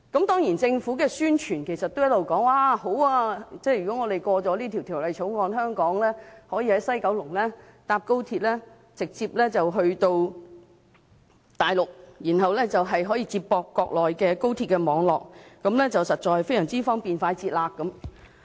當然政府的宣傳也一直說，如果通過《條例草案》，香港人可以在西九龍站乘搭高鐵直接前往大陸，然後接駁國內高鐵網絡，實在非常方便快捷。